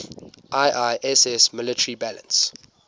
iiss military balance